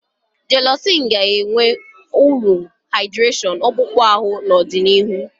Jélọ̀cị́n ga-enweta uru haịdị́réshọ̀n akpụkpọ ahụ n'ọdịnihu